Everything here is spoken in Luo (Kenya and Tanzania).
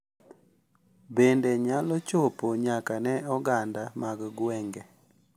Bende nyalo chopo nyaka ne oganda mag gwenge.